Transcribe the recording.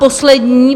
Poslední.